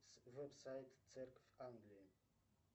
веб сайт церковь англии